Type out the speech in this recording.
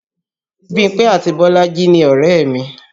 Bímpé àti Bolaji ni ọ̀rẹ́ mi